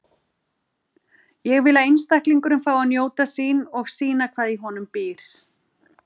Ég vil að einstaklingurinn fái að njóta sín og sýna hvað í honum býr.